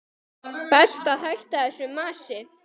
Best að hætta þessu masi.